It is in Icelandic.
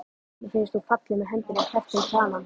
Mér finnst hún falleg með höndina kreppta um kranann.